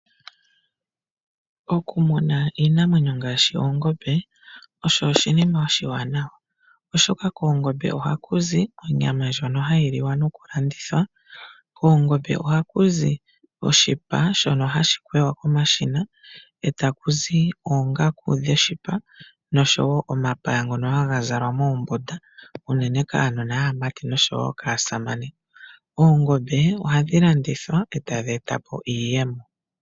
Okumuna oongombe okwa sima noonkondo oshoka koongombe ohakuzi onyama ndjoka hayi liwa nokulandithwa. Koongombe oha kuzi woo oshipa shono hashi kwewa komashina nangele oshipa shakwewa ohamu ndulukwa oongaku nomapaya ngono haga zalwa kaasamane no kuunona wuumati. Oongombe ohadhi landithwa woo nde tadheeta iiyemo.